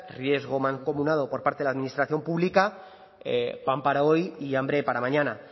riesgo mancomunado por parte la administración pública pan para hoy y hambre para mañana